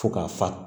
Fo ka fa